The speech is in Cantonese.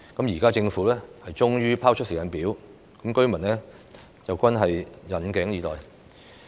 現時政府終於拋出有關的時間表，居民均引頸以待。